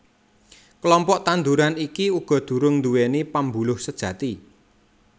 Klompok tanduran iki uga durung nduwèni pembuluh sejati